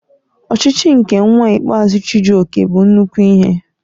Ochichi nke nwa ikpeazụ Chijioke bụ nnukwu ihe